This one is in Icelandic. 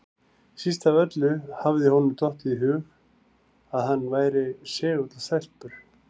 Síst af öllu hafði honum dottið í hug að hann væri segull á stelpur!